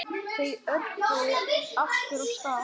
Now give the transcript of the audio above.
Þau örkuðu aftur af stað.